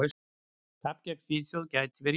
Tapið gegn Svíþjóð gæti verið jákvætt.